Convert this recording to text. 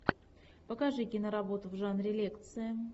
покажи киноработу в жанре лекция